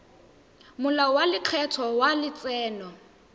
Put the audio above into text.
molao wa lekgetho wa letseno